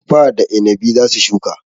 Tuffa da inabi za su shuka.